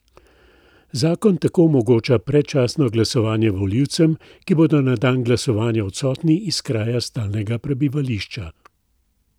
Zakon tako omogoča predčasno glasovanje volivcem, ki bodo na dan glasovanja odsotni iz kraja stalnega prebivališča.